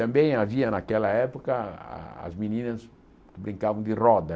Também havia naquela época ah as meninas que brincavam de roda.